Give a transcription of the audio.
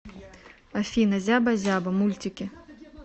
афина зяба зяба мультики